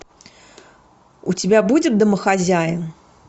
у тебя будет домохозяин